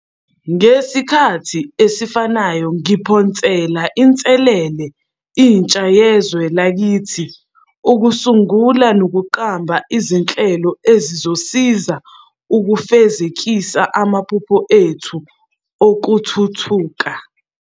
Ngesikhathi esifanayo, ngiphosela inselele intsha yezwe lakithi ukusungula nokuqamba izinhlelo ezizosisiza ukufezekisa amaphupho ethu okuthuthuka.